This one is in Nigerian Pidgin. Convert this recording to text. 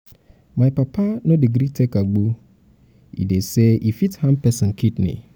my papa no dey gree take agbo e um dey um sey e fit harm pesin kidney.